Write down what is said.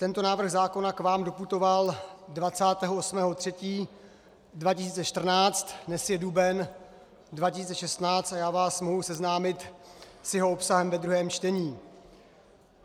Tento návrh zákona k vám doputoval 28. 3. 2014, dnes je duben 2016 a já vás mohu seznámit s jeho obsahem ve druhém čtení.